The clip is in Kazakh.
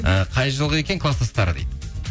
і қай жылғы екен класстастары дейді